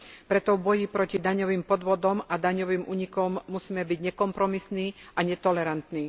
Preto v boji proti daňovým podvodom a daňovým únikom musíme byť nekompromisní a netolerantní.